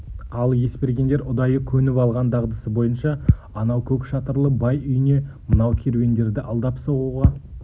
ал есбергендер ұдайы көніп алған дағдысы бойынша анау көк шатырлы бай үйіне мынау керуендерді алдап соғуға